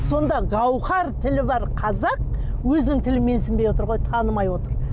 сонда гаухар тілі бар қазақ өзінің тілін менсінбей отыр ғой танымай отыр